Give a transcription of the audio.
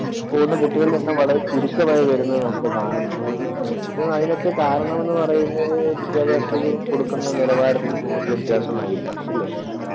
പോകുന്ന കുട്ടികളുടെ എണ്ണം വളരെ ചുരുക്കമായി വരുന്നത് നമുക്ക് കാണുന്നുണ്ട്. ഇതിനു അതിനൊക്കെ കാരണം എന്ന് പറയുന്നത് വിദ്യാഭ്യാസത്തിനു കൊടുക്കുന്ന നിലവാരത്തിന്‍റെ വ്യത്യാസമായിരിക്കാം അല്ലേ?